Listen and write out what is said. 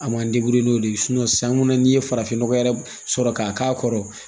A ma n'o de ye sanko n'i ye farafin nɔgɔ yɛrɛ sɔrɔ k'a k'a kɔrɔ